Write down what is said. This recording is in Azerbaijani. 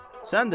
Sən də gəl.